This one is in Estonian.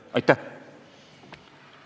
Aitäh!